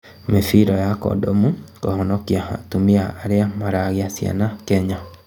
Mĩbira ya kondomu kũhonokia atumia arĩa maragĩa ciana Kenya